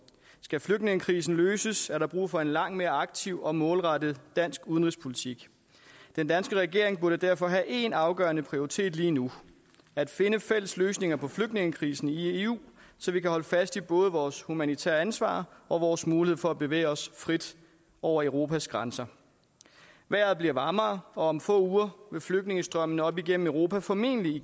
skal flygtningekrisen løses er der brug for en langt mere aktiv og målrettet dansk udenrigspolitik den danske regering burde derfor have én afgørende prioritet lige nu at finde fælles løsninger på flygtningekrisen i eu så vi kan holde fast i både vores humanitære ansvar og vores mulighed for at bevæge os frit over europas grænser vejret bliver varmere og om få uger vil flygtningestrømmene op igennem europa formentlig